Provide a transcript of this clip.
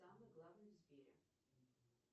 самый главный в сбере